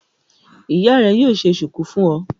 Ìyá rẹ yóò ṣe ṣùkú fún ọ.